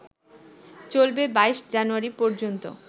চলবে ২২ জানুয়ারি পর্যন্ত